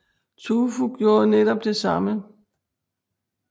Tu Fu gjorde netop det samme